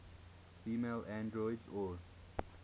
female androids or